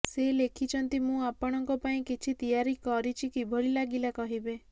ସେ ଲେଖିଛନ୍ତି ମୁଁ ଆପଣଙ୍କ ପାଇଁ କିଛି ତିଆରି କିରଛି କିଭଳି ଲାଗିଲା କହିବେ